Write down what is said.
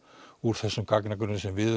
úr þessum gagnagrunni sem við